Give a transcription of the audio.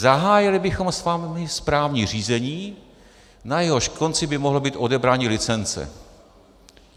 "Zahájili bychom s vámi správní řízení, na jehož konci by mohlo být odebrání licence."